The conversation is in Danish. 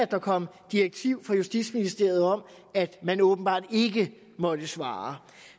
der kom direktiv fra justitsministeriet om at man åbenbart ikke måtte svare